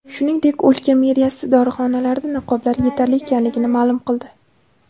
Shuningdek, o‘lka meriyasi dorixonalarda niqoblar yetarli ekanligini ma’lum qildi.